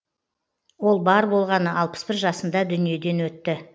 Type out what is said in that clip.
ол бар болғаны алпыс бір жасында дүниеден өтті